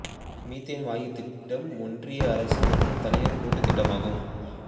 methane வாயு திட்டம் ஒன்றிய அரசு மற்றும் தனியார் கூட்டு திட்டமாகும்